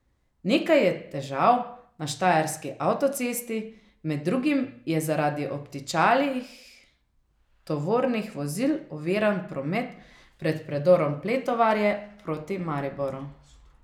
Nekaj je težav na štajerski avtocesti, med drugim je zaradi obtičalih tovornih vozil oviran promet pred predorom Pletovarje proti Mariboru.